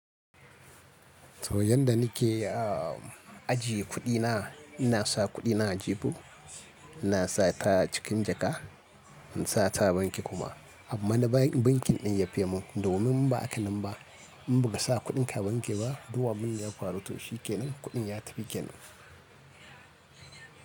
To yanda nike ajiye kuɗina, ina sa kuɗina a jibo, ina sa ta cikin jaka, in sa ta banki kuma. Amma na bankin ɗin yafe mun, domin ba akanan ba in baka sa kuɗin ka banki ba, du abinda ya faru to shi kenan kuɗin ya tafi kenan.